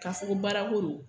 K'a fɔ ko baara ko don .